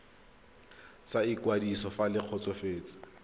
sa ikwadiso fa le kgotsofetse